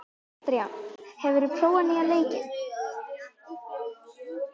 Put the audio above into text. Eldjárn, hefur þú prófað nýja leikinn?